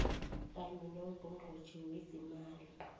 kanye nongqongqotjhe wezeemali